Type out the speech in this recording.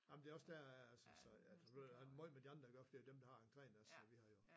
Ej men det er også der jeg er altså så ja det har meget med de andre at gøre for det er dem der har entreen også så vi har jo